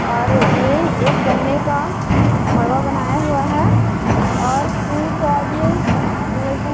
और ये एक गन्ने का मड़वा बनाया हुआ है और फूल पौधे लगी--